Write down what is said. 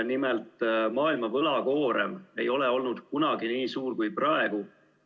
Nimelt, maailma võlakoorem ei ole olnud kunagi nii suur kui praegu.